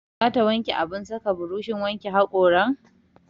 Za ta wanke abin saka burushin wanke haƙoran?